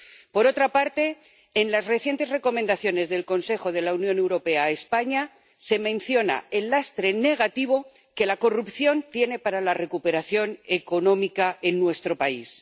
Por otra parte, en las recientes recomendaciones del Consejo de Europa a España, se menciona el lastre negativo que la corrupción tiene para la recuperación económica en nuestro país.